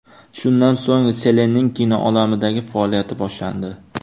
Shundan so‘ng Selenning kino olamidagi faoliyati boshlandi.